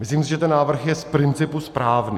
Myslím si, že ten návrh je z principu správný.